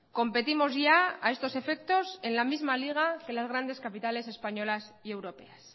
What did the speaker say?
competimos ya a estos efectos en la misma liga que las grandes capitales españolas y europeas